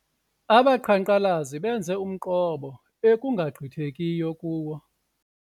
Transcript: Abaqhankqalazi benze umqobo ekungagqithekiyo kuwo.